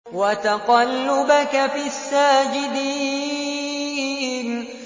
وَتَقَلُّبَكَ فِي السَّاجِدِينَ